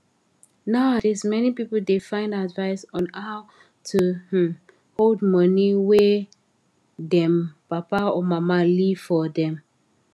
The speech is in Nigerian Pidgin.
nowadays many people da find advice on how to um hold money wey them papa or mama leave forr dem